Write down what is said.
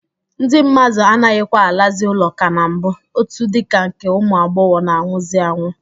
Ndị mmadụ anaghịkwa alazị ụlọ ka na mbụ, otu dịka nke ụmụ agbọghọ na-anwụzị anwụ.